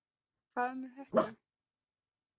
Hvað með þetta?